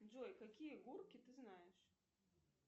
джой какие гурки ты знаешь